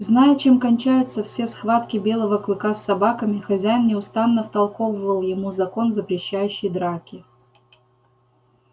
зная чем кончаются все схватки белого клыка с собаками хозяин неустанно втолковывал ему закон запрещающий драки